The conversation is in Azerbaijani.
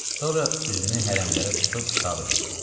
Sonra üzünü hərəmlərə tutub xitab elədi.